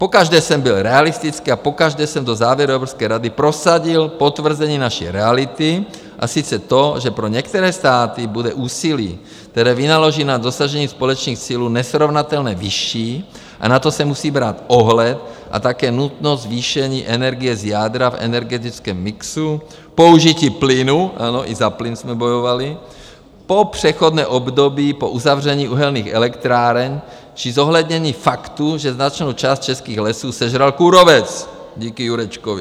Pokaždé jsem byl realistický a pokaždé jsem do závěru Evropské rady prosadil potvrzení naší reality, a sice to, že pro některé státy bude úsilí, které vynaloží na dosažení společných cílů, nesrovnatelně vyšší a na to se musí brát ohled, a také nutnost zvýšení energie z jádra v energetickém mixu, použití plynu - ano, i za plyn jsme bojovali - po přechodné období po uzavření uhelných elektráren, či zohlednění faktu, že značnou část českých lesů sežral kůrovec díky Jurečkovi.